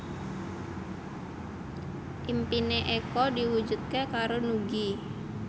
impine Eko diwujudke karo Nugie